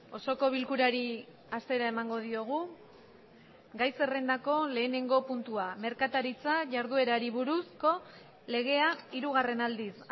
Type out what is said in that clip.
osoko bilkurari hasiera emango diogu gai zerrendako lehenengo puntua merkataritza jarduerari buruzko legea hirugarren aldiz